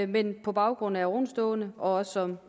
men på baggrund af ovenstående og som